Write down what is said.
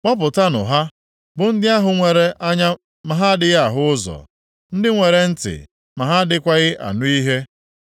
Kpọpụtanụ ha, bụ ndị ahụ nwere anya ma ha adịghị ahụ ụzọ, ndị nwere ntị ma ha adịghịkwa anụ ihe.